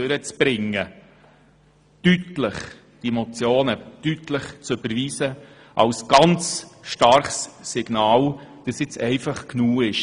Damit setzen Sie ein starkes Signal dafür, dass es jetzt einfach reicht.